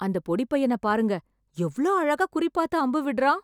அந்த பொடிப்பையன பாருங்க... எவ்ளோ அழகா குறி பாத்து அம்பு விட்றான்...!